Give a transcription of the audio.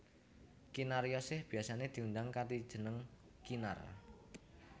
Kinaryosih biyasané diundang kanthi jeneng Kinar